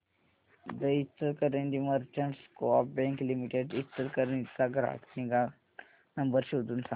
दि Ichalkaranji merchants co-op bank limited Ichalkaranji चा ग्राहक निगा नंबर शोधून सांग